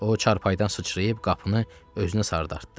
O çarpayıdan sıçrayıb qapını özünə sarı dartdı.